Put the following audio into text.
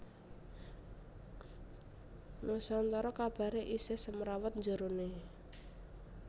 Nusantara kabare isih semrawut njerone